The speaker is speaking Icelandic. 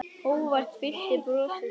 Hógværð fyllti brosið.